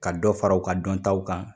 Ka dɔ fara u ka dɔntaw kan